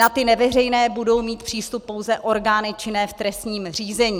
Na ty neveřejné budou mít přístup pouze orgány činné v trestním řízení.